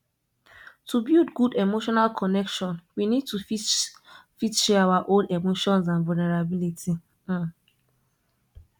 to build good emotional connection we need to fit fit share our own emotions and vulnerability um